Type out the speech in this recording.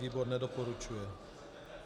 Výbor nedoporučuje.